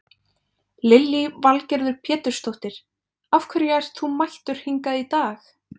Lillý Valgerður Pétursdóttir: Af hverju ert þú mættur hingað í dag?